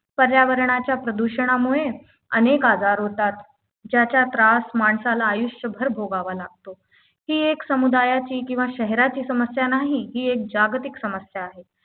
पर्यावरणाच्या प्रदूषणामुळे अनेक आजार होतात ज्याचा त्रास माणसाला आयुष्यभर भोगावा लागतो ही एक समुदायाची किंवा शहराची समस्या नाही ही एक जागतिक समस्या आहे